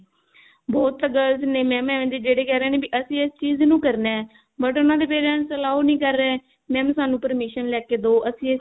ਬਹੁਤ girls ਨੇ mam ਏਵੇਂ ਦੇ ਜਿਹੜੇ ਕਿਹ ਰਹੇ ਨੇ ਵੀ ਅਸੀਂ ਇਸ ਚੀਜ਼ ਨੂੰ ਕਰਨਾ but ਉਹਨਾਂ ਦੇ parents allow ਨਹੀ ਕਰ ਰਹੇ mam ਸਾਨੂੰ permission ਲੇਕੇ ਦਿਓ mam ਅਸੀਂ